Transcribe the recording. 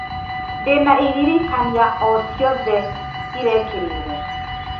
ndĩna iririkania o ciothe irekĩrirwo